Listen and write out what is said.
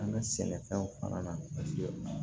An ka sɛnɛfɛnw fana na paseke